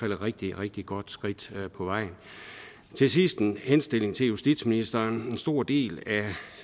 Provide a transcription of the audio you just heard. et rigtig rigtig godt skridt på vejen til sidst med en henstilling til justitsministeren en stor del